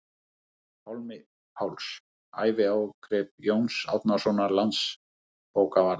Pálmi Pálsson: Æviágrip Jóns Árnasonar landsbókavarðar